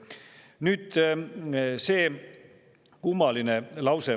Nüüd see kummaline lause.